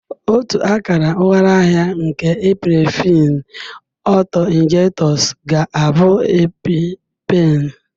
Otu akara ụghalaahịa nke Epinephrine auto-injectors ga-abụ Epi-pen